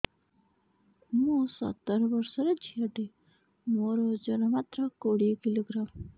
ମୁଁ ସତର ବର୍ଷ ଝିଅ ଟେ ମୋର ଓଜନ ମାତ୍ର କୋଡ଼ିଏ କିଲୋଗ୍ରାମ